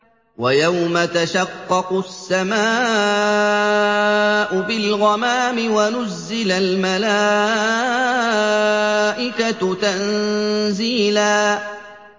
وَيَوْمَ تَشَقَّقُ السَّمَاءُ بِالْغَمَامِ وَنُزِّلَ الْمَلَائِكَةُ تَنزِيلًا